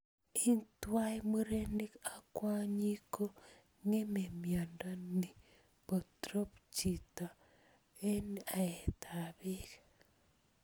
Ing twai murenik ak kwonyik ko ngeme miondo ni potrop chito ing aet ap pek.